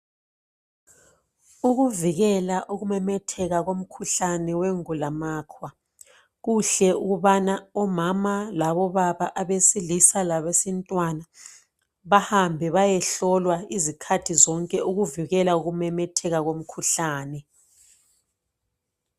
Ukuvikela ukumemetheka komkhuhlane wengulamakhwa kuhle ukubana omama labobaba abesilisa labesintwana bahambe bayehlolwa izikhathi zonke ukuvikela ukumemetheka komkhuhlane